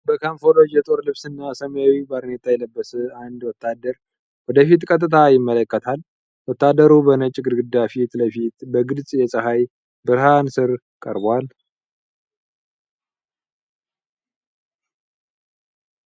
በካሞፍላጅ የጦር ልብስና ሰማያዊ ባርኔጣ የለበሰ አንድ ወታደር ወደፊት ቀጥታ ይመለከታል። ወታደሩ በነጭ ግድግዳ ፊት ለፊት በግልጽ የፀሐይ ብርሃን ስር ቀርቧል።